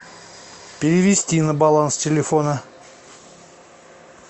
перевести на баланс телефона